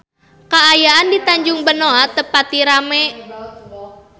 Kaayaan di Tanjung Benoa teu pati rame